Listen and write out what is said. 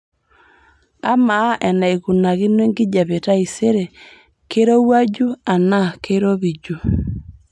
amaa enaikunakino enkijiape taisere keirowuaju anaa keiropiju